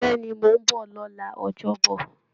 Bẹ́ẹ̀ ni, mò ń bọ̀ lọ́la ọjọ́bọ̀